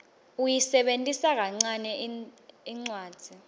uyisebentisa kancane incwadzi